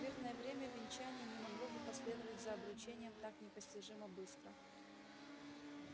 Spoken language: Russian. в мирное время венчание не могло бы последовать за обручением так непостижимо быстро